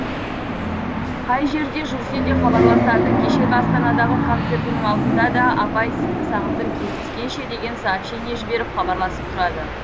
қай жерде жүрсе де хабарласады кешегі астанадағы концертінің алдында да апай сізді сағындым кездескенше деген сообщение жіберіп хабарласып тұрады